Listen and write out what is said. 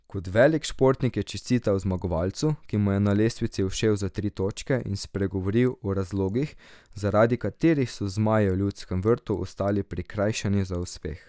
Kot velik športnik je čestital zmagovalcu, ki mu je na lestvici ušel za tri točke, in spregovoril o razlogih, zaradi katerih so zmaji v Ljudskem vrtu ostali prikrajšani za uspeh.